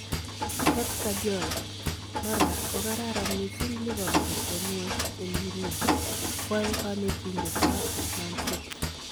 Pep Guardiola : Maraa kokararan missing Liverpool en kwony en inguni , kwae kanetindetab Man City